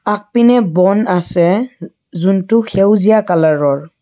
আগপিনে বন আছে যুনটো সেউজীয়া কালাৰৰ।